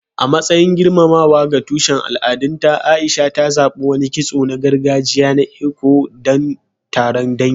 A matsayin girmamawa ga tushen al'adunta, A'isha ta zaɓi wani kitso na gargajiya na Eko don taron dangi.